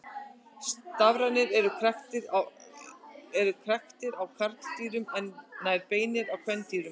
Stafirnir eru kræktir á karldýrum en nær beinir á kvendýrum.